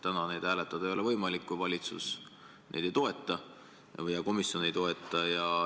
Täna neid hääletada ei ole võimalik, kui valitsus ja komisjon neid ei toeta.